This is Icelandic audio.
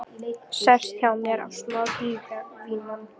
Sest hjá mér á dívaninn.